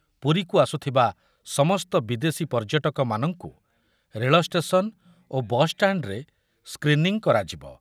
ପୁରୀକୁ ଆସୁଥିବା ସମସ୍ତ ବିଦେଶୀ ପର୍ଯ୍ୟଟକମାନଙ୍କୁ ରେଳ ଷ୍ଟେସନ୍‌ ଓ ବସ୍‌ଷ୍ଟାଣ୍ଡ୍‌ରେ ସ୍କ୍ରିନିଂ କରାଯିବ ।